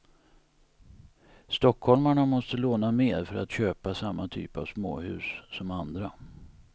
Stockholmarna måste låna mer för att köpa samma typ av småhus som andra.